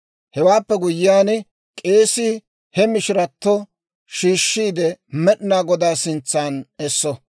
« ‹Hewaappe guyyiyaan, k'eesii he mishirato shiishiide, Med'inaa Godaa sintsan esso.